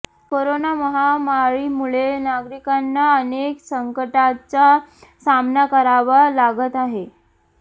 corona महामारीमुळे नागरिकांना अनेक संकटांचा सामना करावा लागत आहे